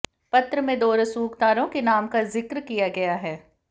पत्र में दो रसूखदारों के नाम का जिक्र किया गया है